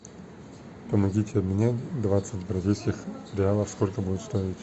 помогите обменять двадцать бразильских реалов сколько будет стоить